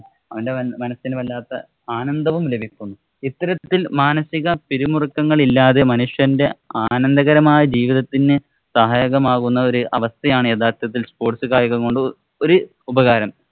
അവന്‍റെ മനസിനു വല്ലാത്ത ആനന്ദവും ലഭിക്കുന്നു. ഇത്തരത്തില്‍ മാനസിക പിരിമുറുക്കങ്ങളില്ലാതെ മനുഷ്യന്‍റെ ആനന്ദകരമായ ജീവിതത്തിനു സഹായകരമാകുന്ന ഒരവസ്ഥയാണ് യാഥാര്‍ത്ഥത്തില്‍ sports കായികം കൊണ്ട് ഒരു ഉപകാരം.